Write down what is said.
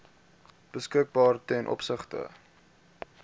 beskikbaar ten opsigte